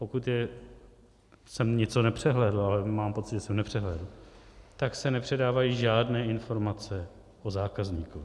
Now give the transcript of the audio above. Pokud jsem něco nepřehlédl, ale mám pocit, že jsem nepřehlédl, tak se nepředávají žádné informace o zákazníkovi.